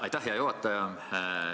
Aitäh, hea juhataja!